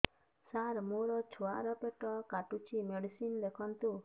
ସାର ମୋର ଛୁଆ ର ପେଟ କାଟୁଚି ମେଡିସିନ ଲେଖନ୍ତୁ